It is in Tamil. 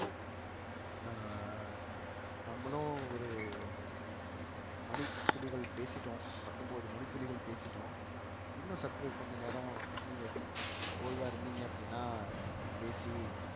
அஹ் நம்மளும் ஒரு மணித்துளிகள் பேசிட்டோம் பத்தொன்பது மணித்துளிகள் பேசிட்டோம் இன்னும் சற்று கொஞ்ச நேரம் நீங்க ஓய்வா இருந்தீங்க அப்படின்னா நம்ம பேசி